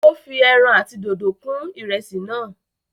ó fi èràn àti dòdo kún ìrẹsì náà